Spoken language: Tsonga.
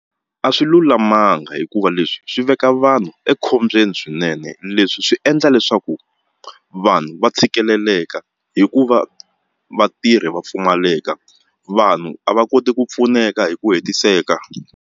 A swi lulamanga hikuva leswi swi veka vanhu ekhombyeni swinene leswi swi endla leswaku vanhu va tshikeleleka hikuva vatirhi va pfumaleka vanhu a va koti ku pfuneka hi ku hetiseka.